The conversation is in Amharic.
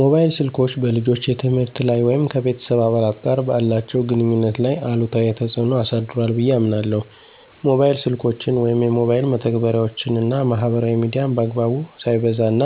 ሞባይል ስልኮች በልጆች የትምህርት ላይ ወይም ከቤተሰብ አባላት ጋር ባላቸው ግንኙነት ላይ አሉታዊ ተጽዕኖ አሳድሯ ብየ አምናለሁ። ሞባይል ስልኮችን ወይም የሞባይል መተግበሪያወችን እና ማህበራዊ ሚዲያን በአግባቡ፣ ሳይበዛ፣ እና